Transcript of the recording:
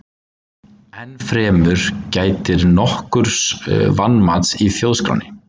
Enn fremur gætir nokkurs vanmats í Þjóðskránni.